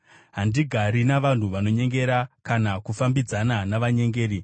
Handigari navanhu vanonyengera, kana kufambidzana navanyengeri;